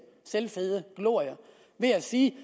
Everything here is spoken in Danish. glorie ved at sige